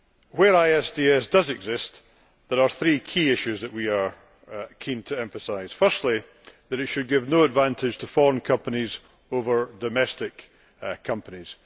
Where ISDS does exist, there are three key issues that we are keen to emphasise firstly, that it should give no advantage to foreign companies over domestic companies.